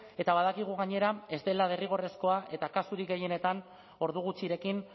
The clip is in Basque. eta badakigu gainera ez dela derrigorrezkoa eta kasurik gehienetan ordu gutxirekin